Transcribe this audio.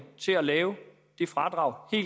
til at lave et fradrag i